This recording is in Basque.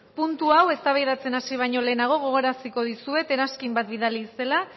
puntu hau eztabaidatzen hasi baino lehenago gogoraraziko dizuet eranskin bat bidali zela